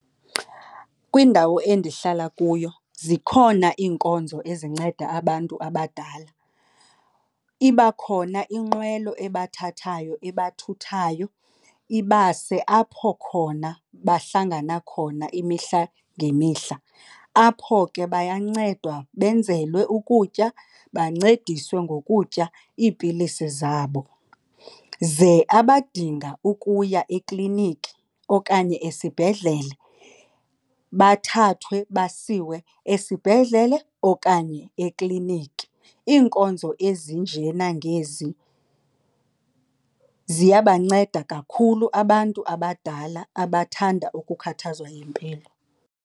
Kwindawo endihlala kuyo zikhona iinkonzo ezinceda abantu abadala. Iba khona inqwelo ebathathayo ebathuthayo ibase apho khona bahlangana khona imihla ngemihla. Apho ke bayancedwa benzelwe ukutya bancediswe ngokutya iipilisi zabo. Ze abadinga ukuya ekliniki okanye esibhedlele bathathwe basiwe esibhedlele okanye ekliniki. Iinkonzo ezinjenangezi ziyabanceda kakhulu abantu abadala abathanda ukukhathazwa yimpilo.